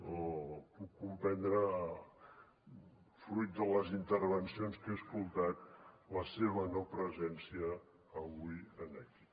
o puc comprendre fruit de les intervencions que he escoltat la seva no presència avui aquí